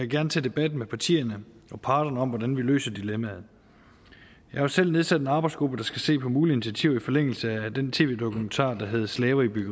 gerne tage debatten med partierne og parterne om hvordan vi løser dilemmaet jeg har selv nedsat en arbejdsgruppe der skal se på mulige initiativer i forlængelse af den tv dokumentar der hed slaverne i